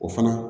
O fana